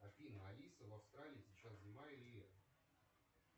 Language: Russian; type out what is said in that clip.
афина алиса в австралии сейчас зима или лето